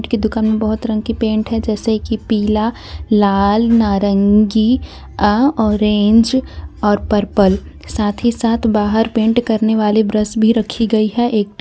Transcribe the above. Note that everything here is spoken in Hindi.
उसकी दुकान में बहुत रंग की पेंट है जैसे कि पीला लाल नारंगी अ ऑरेंज और पर्पल साथ ही साथ बाहर पेंट करने वाले ब्रश भी रखी गई है एक टेप--